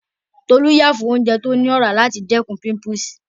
Tolú yà fún oúnjẹ tó ní ọ̀rá láti dẹ́kun